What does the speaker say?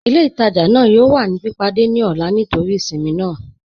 Ilẹ̀-itajà naa yọọ̀ wà ni pípádẹ̀ ni ọlá nítorí ìṣinmí naa.